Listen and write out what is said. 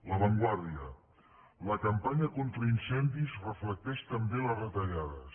la vanguardia la campanya contra incendis reflecteix també les retallades